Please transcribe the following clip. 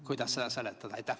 Kuidas seda seletada?